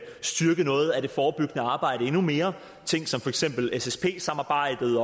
styrke noget af det forebyggende arbejde endnu mere ting som for eksempel ssp samarbejdet